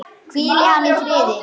Hvíli hann í friði!